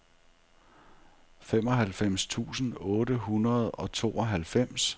femoghalvfems tusind otte hundrede og tooghalvfems